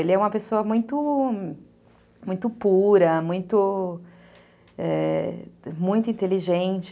Ele é uma pessoa muito pura, é... muito inteligente.